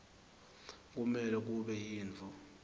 kumele kube yintfo